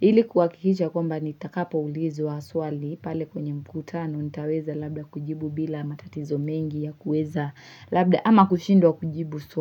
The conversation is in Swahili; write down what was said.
Hili kuwakikisha kwamba nitakapo ulizwa swali pale kwenye mkutano nitaweza labda kujibu bila matatizo mengi ya kuweza labda ama kushindwa kujibu swali.